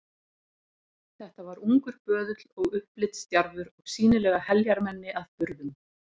Þetta var ungur böðull og upplitsdjarfur og sýnilega heljarmenni að burðum.